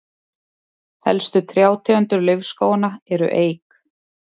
helstu trjátegundir laufskóganna eru eik